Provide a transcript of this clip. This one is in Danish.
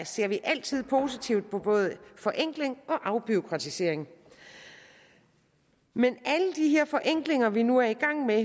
ser vi altid positivt på både forenkling og afbureaukratisering men alle de her forenklinger vi nu er i gang med